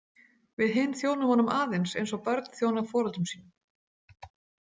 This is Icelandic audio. Við hin þjónum honum aðeins eins og börn þjóna foreldrum sínum.